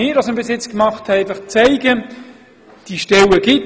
Was wir bisher gemacht haben, genügt sicher nicht.